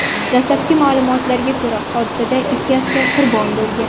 Dastlabki ma’lumotlarga ko‘ra, hodisada ikki askar qurbon bo‘lgan.